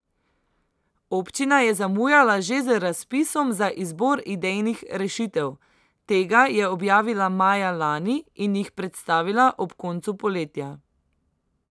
Občina je zamujala že z razpisom za izbor idejnih rešitev, tega je objavila maja lani in jih predstavila ob koncu poletja.